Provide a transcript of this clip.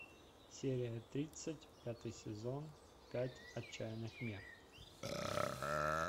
серия тридцать пятый сезон пять отчаянных мер